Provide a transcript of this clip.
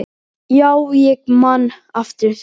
Já, ég man eftir því.